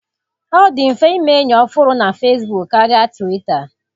Ọ dị mfe ime enyi ọhụrụ na Fesbuk karịa Twita.